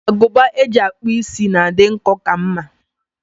Agụba eji akpụ is na-adị nkọ ka mma.